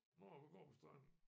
Når vi går på stranden